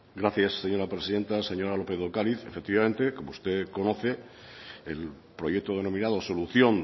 gracias señora presidenta señora lópez de ocariz efectivamente como usted conoce el proyecto denominado solución